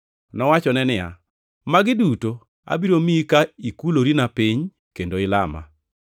Nowachone niya, “Magi duto abiro miyi ka ikulorina piny kendo ilama.”